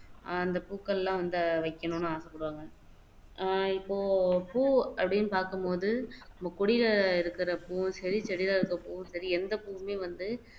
அஹ் அந்த பூக்கள் எல்லாம் வந்து வைக்கணும்னு ஆசைப்படுவாங்க அஹ் இப்போ பூ அப்படின்னு பாக்கும் போது நம்ம கொடியில இருக்குற பூவும் சரி செடியில இருக்குற புவும் சரி எந்த பூவுமே வந்து